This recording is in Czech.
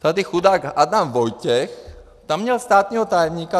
Tady chudák Adam Vojtěch tam měl státního tajemníka.